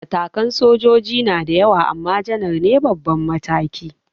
Matakan sojoji na da yawa ama janaral ne babban mataki